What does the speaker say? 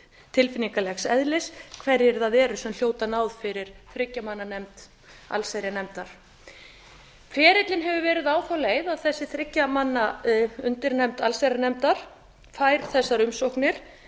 tilfinningalegs eðlis hverjir það eru sem hljóta a fyrir þriggja manna nefnd allsherjarnefndar ferillinn hefur verið á þá leið að þessi þriggja manna undirnefnd allsherjarnefndar fær þessar umsóknir